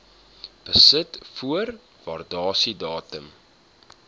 besit voor waardasiedatum